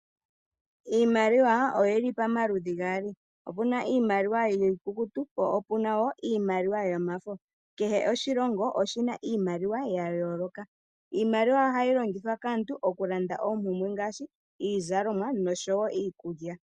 Iimaliwa oyili pama ludhi gaali opuna iimaliwa yiikukutu po opuna iimaliwa yomafo kehe oshilongo oshina iimaliwa ya yooloka , iimaliwa ohayi longithwa kaantu oku londa oompumbwe ngaashi iizalomwa noshowo iikulya.